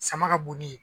Sama ka bon ni ye